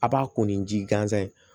A b'a ko ni ji gansan ye